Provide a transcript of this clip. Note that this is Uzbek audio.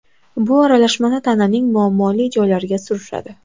Bu aralashmani tananing muammoli joylariga surishadi.